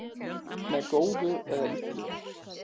Með góðu eða illu